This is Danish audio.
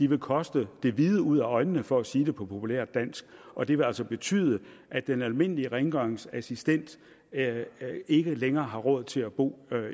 vil koste det hvide ud øjnene for at sige det på populært dansk og det vil altså betyde at den almindelige rengøringsassistent ikke længere har råd til at bo